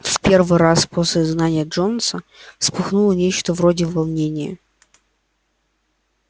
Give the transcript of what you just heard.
в первый раз после изгнания джонса вспыхнуло нечто вроде волнения